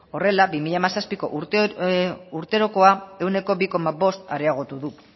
horrela bi mila hamazazpiko urterokoa ehuneko bi koma bost areagotu du